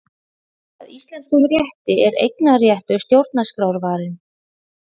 Að íslenskum rétti er eignarréttur stjórnarskrárvarinn